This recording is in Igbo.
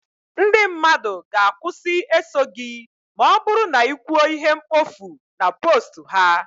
ndị mmadụ ga- akwusi eso gị ma ọ bụrụ na ị kwuo ihe mkpofu na post ha